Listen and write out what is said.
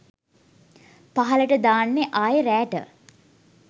පහළට දාන්නෙ ආයෙ රෑට